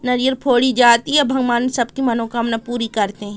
नारियल फोड़ी जाती है भगवान सबकी मनोकामना पूरी करते हैं।